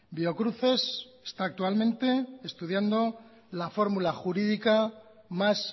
biocruces está actualmente estudiando la fórmula jurídica más